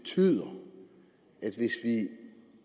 er lige